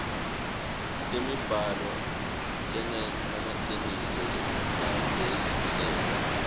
temibhalo lengemaciniso nalesuselwe